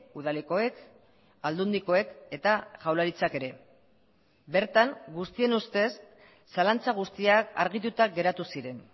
udalekoek aldundikoek eta jaurlaritzak ere bertan guztien ustez zalantza guztiak argituta geratu ziren